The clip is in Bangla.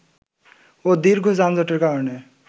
ও দীর্ঘ যানজটের কারণে